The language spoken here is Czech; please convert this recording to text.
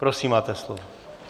Prosím, máte slovo.